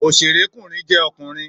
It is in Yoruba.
Òṣèré kùnrin jẹ́ ọkùnrin